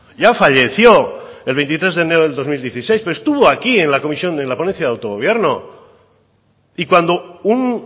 ya falleció el veintitrés de enero del dos mil dieciséis pero estuvo aquí en la comisión en la ponencia de autogobierno y cuando un